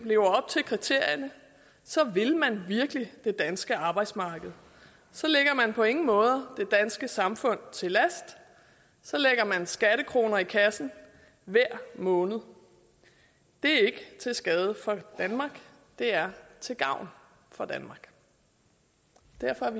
lever op til kriterierne så vil man virkelig det danske arbejdsmarked så ligger man på ingen måde det danske samfund til last så lægger man skattekroner i kassen hver måned det er ikke til skade for danmark det er til gavn for danmark derfor